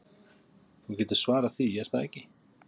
Þú getur svarað því, er það ekki?